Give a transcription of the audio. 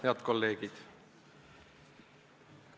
Head kolleegid!